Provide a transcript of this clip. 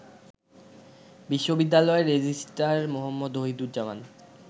বিশ্ববিদ্যালয়ের রেজিস্ট্রার মো. ওহিদুজ্জামান